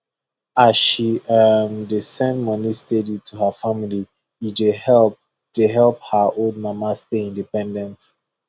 as she um dey send money steady to her family e dey help dey help her old mama stay independent